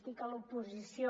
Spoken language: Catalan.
estic a l’oposició